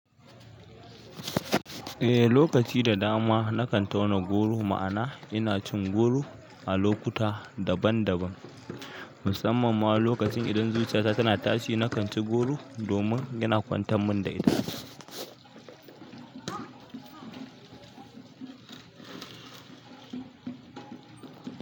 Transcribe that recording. Eh, lokaci da dama na kan tauna goro ma'ana ina cin goro a lokuta daban-daban, musamman ma lokacin idan zuciya ta tana tashi na kan ci goro domin yana kwantar min da ita.